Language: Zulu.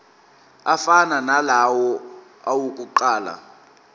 afana nalawo awokuqala